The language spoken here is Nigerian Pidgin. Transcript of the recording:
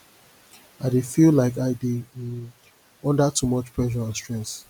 i dey feel like i dey um under too much pressure and stress